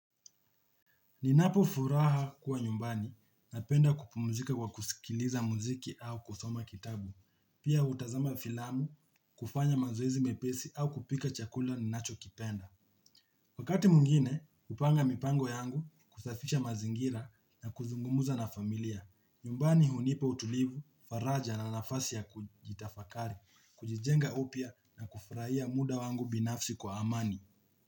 Ninapo furaha kuwa nyumbani na penda kupumzika kwa kusikiliza muziki au kusoma kitabu. Pia hutazama filamu, kufanya mazoezi mepesi au kupika chakula ni nacho kipenda. Wakati mwingine kupanga mipango yangu, kusafisha mazingira na kuzungumza na familia. Nyumbani hunipa utulivu, faraja na nafasi ya kujitafakari, kujijenga upya na kufurahia muda wangu binafsi kwa amani.